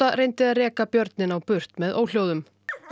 reyndi að reka björninn á burt með óhljóðum